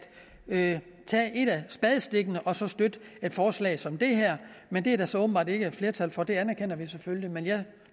af spadestikkene og så støtte et forslag som det her men det er der så åbenbart ikke flertal for og det anerkender vi selvfølgelig men jeg